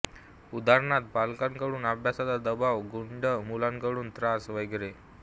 उदाहरणार्थ पालकांकडून अभ्यासाचा दबाव गुंड मुलांकडून त्रास वैगेरे